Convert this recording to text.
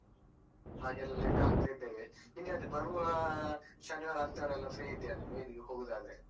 ಹಾಗೆಲ್ಲಾ ಲೆಕ್ಕಾ ಹಾಕ್ತಿದ್ದೇವೆ ನಿಂಗೆ ಅದೇ ಬರುವ ಶನಿವಾರ ಆತರೆಲ್ಲಾ free ಇದ್ದೀಯಾ ನೀನು ಈಗ ಹೋಗೂದಾದ್ರೆ.